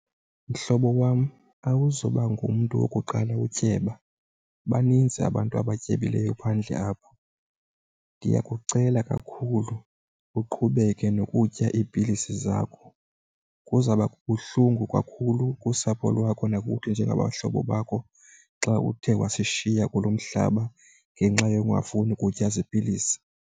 Mhlobo wam awuzuba ngumntu wokuqala utyeba baninzi abantu abatyebileyo phandle apha. Ndiyakucela kakhulu uqhubeke nokutya iipilisi zakho. Kuzawuba buhlungu kakhulu kusapho lwakho nakuthi njengabahlobo bakho xa uthe wasishiya kulo mhlaba ngenxa yokungafuni kutya zipilisi.